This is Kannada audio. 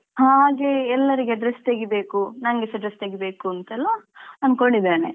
ಹಾಗೆ ಎಲ್ಲರಿಗೆ dress ತೆಗೀಬೇಕು ನಂಗೆಸ dress ತೆಗಿಬೇಕುಂತೆಲ್ಲಾ ಅನ್ಕೊಂಡಿದ್ದೇನೆ.